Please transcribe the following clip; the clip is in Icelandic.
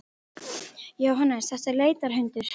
Jóhannes: Þetta er leitarhundur?